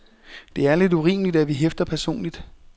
Det er lidt urimeligt, at vi hæfter personligt.